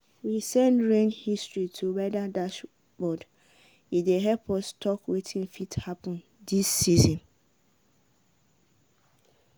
we send rain history to weather dashboard e dey help us talk wetin fit happen these season.